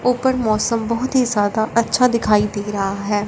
ऊपर मौसम बहोत ही ज्यादा अच्छा दिखाई दे रहा है।